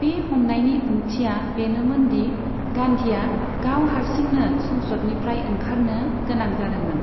बे हमनायनि ओंथिआ बेनोमोन दि गान्धीआ गाव हारसिंनो संसदनिफ्राय ओंखारनो गोनां जादोंमोन।